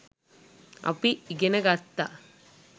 අපි ඉගෙන ගත්තා